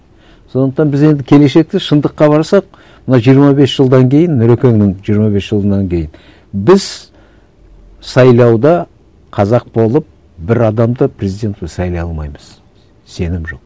сондықтан біз енді келешекте шындыққа барсақ мына жиырма бес жылдан кейін нұрекеннің жиырма бес жылынан кейін біз сайлауда қазақ болып бір адамды президент сайлай алмаймыз сенім жоқ